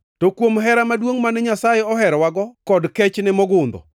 To kuom hera maduongʼ mane Nyasaye oherowago kod kechne mogundho,